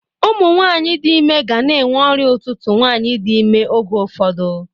Ụmụnwaanyị dị ime gana enwe ọrịa ụtụtụ nwaanyị dị ime oge ụfọdụ.